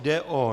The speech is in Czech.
Jde o